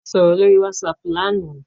A soro lori WhatsApp làná.